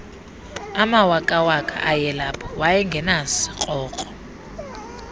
mawakawaka ayelapho wayengenasikrokro